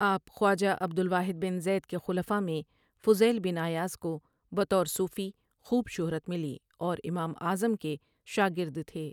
آپ خواجہ Abdul Wahid bin Zaid کے خلفاء میں فضیل بن عیاض کو بطور صوفی خوب شہرت ملی اور امام اعظم کے شاگردتھے ۔